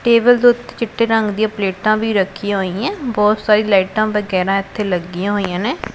Table ਦੇ ਉੱਤੇ ਚਿੱਟੇ ਰੰਗ ਦੀ ਪਲੇਟਾਂ ਵੀ ਰੱਖੀਆਂ ਹੋਈਆਂ ਬਹੁਤ ਸਾਰੀ ਲਾਈਟਾਂ ਵਗੈਰਾ ਇਥੇ ਲੱਗੀਆਂ ਹੋਈਆਂ ਨੇ।